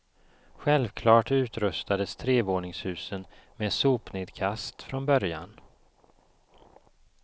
Självklart utrustades trevåningshusen med sopnedkast från början.